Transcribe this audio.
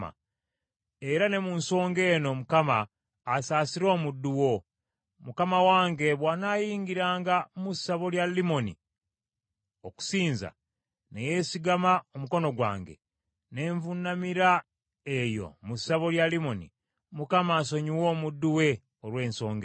Era ne mu nsonga eno Mukama asaasire omuddu wo; mukama wange bw’anayingira mu ssabo lya Limoni okusinza, ne yeesigama omukono gwange, ne nvuunamira eyo mu ssabo lya Limoni, Mukama asonyiwe omuddu we olw’ensonga eyo.”